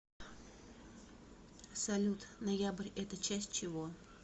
салют ноябрь это часть чего